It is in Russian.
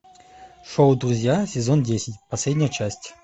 шоу друзья сезон десять последняя часть